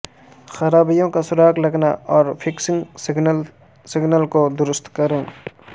خرابیوں کا سراغ لگانا اور فکسنگ سگنل سگنل کو درست کریں